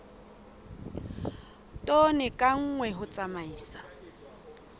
tone ka nngwe ho tsamaisa